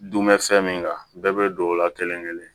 Dun bɛ fɛn min kan bɛɛ bɛ don o la kelen kelen